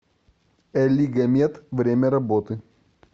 элигомед время работы